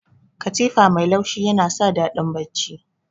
Katifa mai laushi yana sa daɗin bacci.